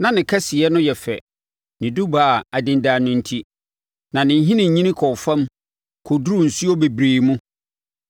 Na ne kɛseyɛ no yɛ fɛ, ne dubaa a adendan no enti, na ne nhini nyini kɔɔ fam kɔduruu nsuo bebree mu.